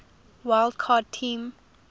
wild card team